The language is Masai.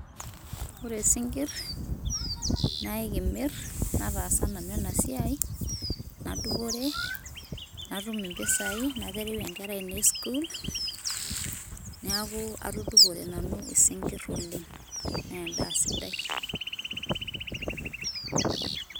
Ore sinkirr naakee kimir nataasa nanu ena siai nadupore, natum mpisai naterewue nkera ainei sukuul, neeku atudupore nanu sinkirr oleng' naa endaa sidai.